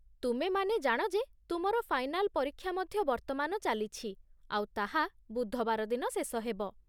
ତୁମେମାନେ ଜାଣ ଯେ ତୁମର ଫାଇନାଲ ପରୀକ୍ଷା ମଧ୍ୟ ବର୍ତ୍ତମାନ ଚାଲିଛି ଆଉ ତାହା ବୁଧବାର ଦିନ ଶେଷ ହେବ।